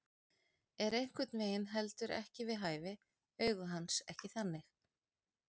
Er einhvern veginn heldur ekki við hæfi, augu hans ekki þannig.